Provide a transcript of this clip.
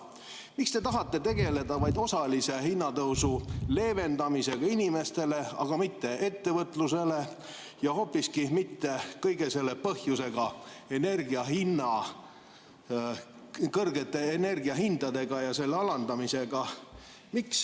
Miks te tahate tegeleda vaid osalise hinnatõusu leevendamisega inimestele, aga mitte ettevõtlusele ja hoopiski mitte kõige selle põhjusega, kõrgete energiahindadega ja nende alandamisega?